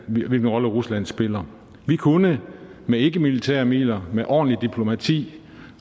hvilken rolle rusland spiller vi kunne med ikkemilitære midler med ordentligt diplomati